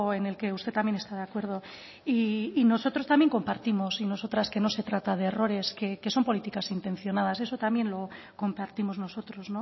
en el que usted también está de acuerdo y nosotros también compartimos y nosotras que no se trata de errores que son políticas intencionadas eso también lo compartimos nosotros